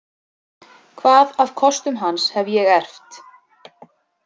Hvað af kostum hans hef ég erft?